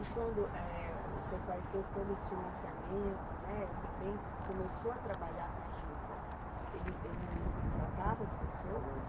E quando, eh, o seu pai fez todo esse financiamento, né, e também começou a trabalhar com a juta, ele ele contratava as pessoas?